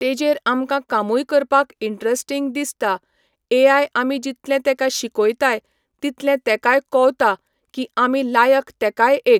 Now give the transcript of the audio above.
तेजेर आमकांं कामूय करपाक इंटरेस्टींग दिसता ए आय आमी जितलें तेका शिकोयताय तितलें तेकाय कोवता की आमी लायक तेकाय एक